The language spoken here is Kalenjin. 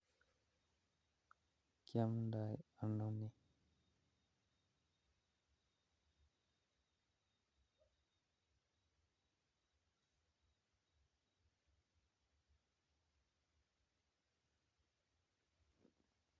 Kiomdo ono nii